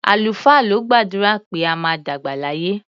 Àlùfáà ló gbàdúrà pé a máa dàgbà láyé.